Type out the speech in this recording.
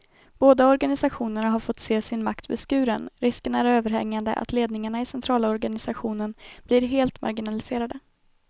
Båda organisationerna har fått se sin makt beskuren, risken är överhängande att ledningarna i centralorganisationerna blir helt marginaliserade.